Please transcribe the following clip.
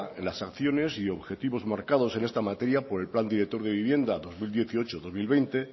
en las acciones y objetivos marcados en esta materia por el plan director de vivienda dos mil dieciocho dos mil veinte